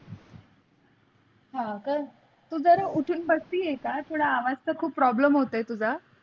हां का तू ज़रा उठान बसती आहे का थोड़ा आवाज़चा खूप problem होत तुझा.